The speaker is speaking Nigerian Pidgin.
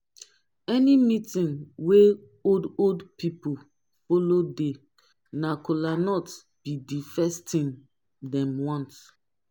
any meetin wey old old pipo follow dey na kolanut bi di first tin dem want